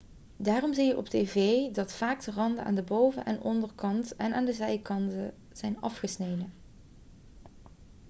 daarom zie je op tv dat vaak de randen aan de boven en onderkant en aan de zijkanten zijn afgesneden